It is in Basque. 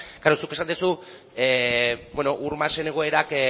klaro zuk esan duzu ur masen egoerak